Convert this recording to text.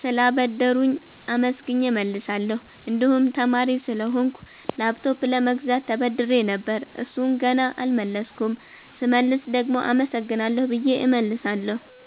ስላበደሩኝ አመስግኘ እመልሳለሁ። እንድሁም ተማሪ ስለሆንኩ ላፕቶፕ ለመግዛት ተበድሬ ነበር እሡን ገና አልመለስኩም ስመልስ ደግሞ አመሰግናለሁ ብየ እመልሳለሁ።